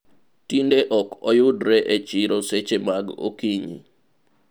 tinde ok oyudre e chiro seche mag okinyi